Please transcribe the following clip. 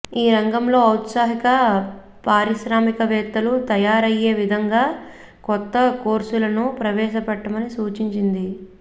ఈ రంగంలో ఔత్సాహిక పారిశ్రామికవేత్తలు తయారయ్యే విధంగా కొత్త కోర్సులను ప్రవేశపెట్టమని సూచించింది